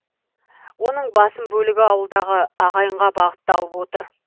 оның басым бөлігі ауылдағы ағайынға бағыттау отыр